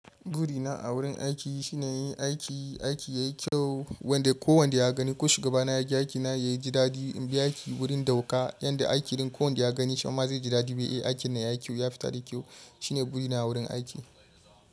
Burina a wurin aiki shine yin aiki, aiki yayi kyau. Wanda ko wanda ya gani ko shugaba na yaga aikina yaji dadi. In bi aiki wurin dauka yadda aiki ɗin ko wanda ya gani, shi ma zai ji dadi. Aikin nan yayi kyau, ya fita da kyau. Shine burina wurin aiki.